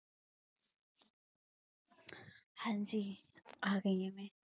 ਹਾਂਜੀ, ਆ ਗਈ ਮੈਂ